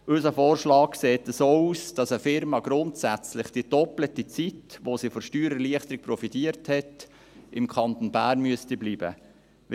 Unser Vorschlag sieht so aus, dass eine Unternehmung grundsätzlich für den doppelten Zeitraum, während dem diese von der Steuererleichterung profitiert hat, im Kanton Bern bleiben muss.